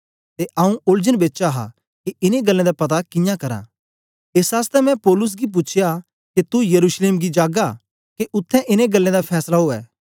ते आंऊँ ओलझन बेच हा के इनें गल्लें दा पता कियां करां एस आसतै मैं पौलुस गी पूछ्या के तू यरूशलेम जागा के उत्थें इनें गल्लें दा फैसला ऊऐ